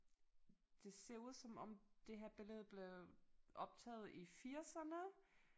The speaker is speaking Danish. Det ser ud som om det her billede blev optaget i firserne